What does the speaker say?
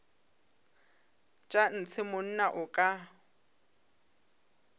tša ntshe monna o ka